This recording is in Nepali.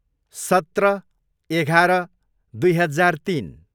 सत्र, एघार, दुई हजार तिन